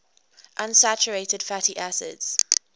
unsaturated fatty acids